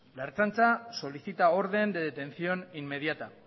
la ertzaintza solicita orden de detención inmediata